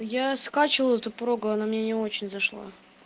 я скачивал эту прогу она мне не очень зашла